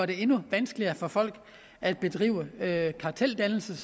det endnu vanskeligere for folk at bedrive karteldannelse